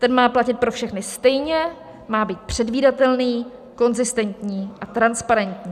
Ten má platit pro všechny stejně, má být předvídatelný, konzistentní a transparentní.